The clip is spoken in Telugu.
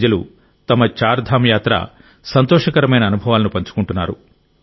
ప్రజలు తమ చార్ధామ్ యాత్ర సంతోషకరమైన అనుభవాలను పంచుకుంటున్నారు